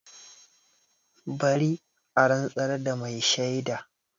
Bari a rantsar da mai shaida!